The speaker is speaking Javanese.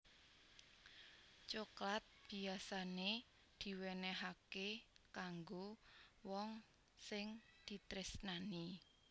Coklat biyasané diwénéhaké kanggo wong sing ditresnani